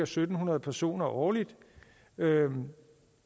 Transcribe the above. syv hundrede personer årligt